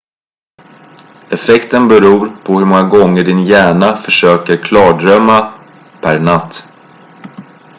effekten beror på hur många gånger din hjärna försöker klardrömma per natt